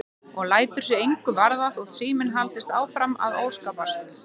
Og lætur sig engu varða þótt síminn haldi áfram að óskapast.